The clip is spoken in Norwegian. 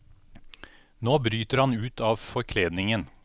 Nå bryter han ut av forkledningen.